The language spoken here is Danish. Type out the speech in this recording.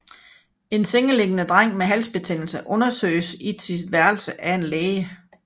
En sengeliggende dreng med halsbetændelse undersøges i sit værelse af en læge